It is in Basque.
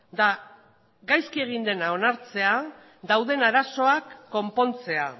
da gaizki egin dena onartzea dauden arazoak konpontzea